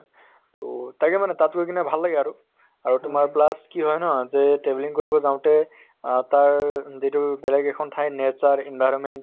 তʼ তাকে মানে তাত গৈ কিনে ভাল লাগে আৰু। আৰু তোমাৰ plus কি হয় ন যে travelling কৰিব যাওঁতে আহ তাৰ যিটো বেলেগ এখন ঠাইৰ nature, environment